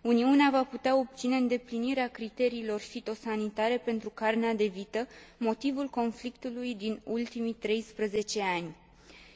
Uniunea va putea obține îndeplinirea criteriilor fitosanitare pentru carnea de vită, motivul conflictului din ultimii 13 ani,